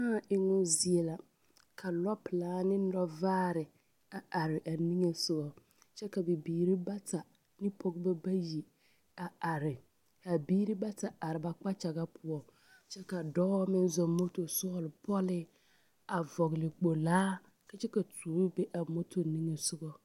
Kãã emmo zie la ka lɔpelaa ne lɔvaare a are a niŋe sogɔ kyɛ ka bibiiri bata ne Pɔgebɔ bayi a are ka biiri bata a are ba ba kpakyaga poɔ, kyɛka dɔɔ me zɔŋ moto sɔglo pɔlee a vɔgele kpolaa ka kyɛ ka tuobo be a moto niŋe sogɔ.